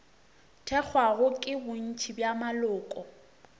thekgwago ke bontši bja maloko